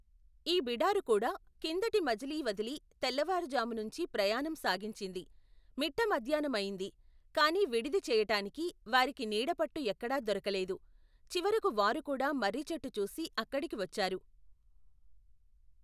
ఈ బిడారుకూడా కిందటి మజిలీ వదిలి తెల్లవారుజామునుంచీ ప్రయాణం సాగించింది. మిట్టమధ్యాహ్నమయింది కాని విడిది చెయ్యటానికి వారికి నీడపట్టు ఎక్కాడా దొరకలెదు. చివరకు వారుకూడా మర్రిచెట్టు చూసి అక్కడికి వచ్చారు.